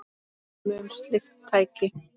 Dæmi um slík tæki